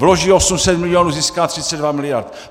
Vloží 800 milionů, získá 32 miliard.